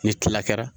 Ni tila kɛra